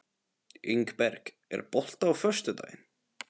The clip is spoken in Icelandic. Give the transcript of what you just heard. Ingberg, er bolti á föstudaginn?